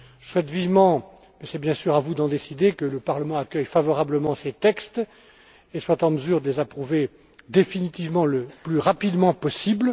Je souhaite vivement mais c'est, bien sûr, à vous d'en décider que le Parlement accueille favorablement ces textes et soit en mesure de les approuver définitivement le plus rapidement possible.